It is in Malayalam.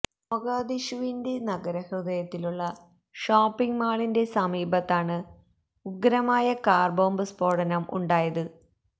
മൊഗാധിഷുവിന്റെ നഗരഹൃദയത്തിലുള്ള ഷോപ്പിങ് മാളിന്റെ സമീപത്താണ് ഉഗ്രമായ കാര്ബോംബ് സ്ഫോടനം ഉണ്ടായത്